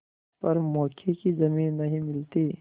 पर मौके की जमीन नहीं मिलती